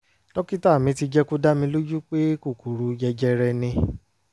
dókítà mi ti jẹ́ kó dá mi lójú pé kókòrò jẹjẹrẹ ni